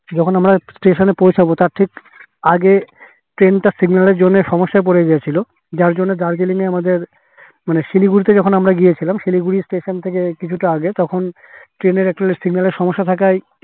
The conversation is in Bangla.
যখন আমরা station এ পৌছাবো তার ঠিক আগে train তা signal এর জন্যে সমস্যায় পরে গিয়েছিলো যার জন্যে দার্জিলিং এ আমাদের মানে শিলিগুড়ি থেকে আমরা ওখানে গিয়েছিলাম শিলিগুড়ি station থেকে কিছু তা আগে train এর আসলে signal এর সমস্যা থাকায়